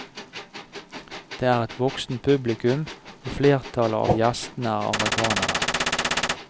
Det er et voksent publikum og flertallet av gjestene er amerikanere.